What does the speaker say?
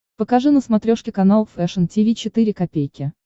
покажи на смотрешке канал фэшн ти ви четыре ка